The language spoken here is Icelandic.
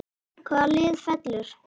Hvaða lið fellur???